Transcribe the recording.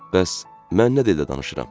Bəs, mən nə dildə danışıram?